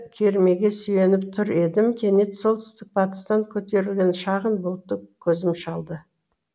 кермеге сүйеніп тұр едім кенет солтүстік батыстан көтерілген шағын бұлтты көзім шалды